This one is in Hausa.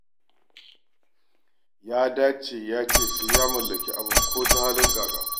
Ya dage ya ce sai ya mallaki abin ko ta halin ƙaƙa.